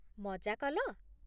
ମଜା କଲ ?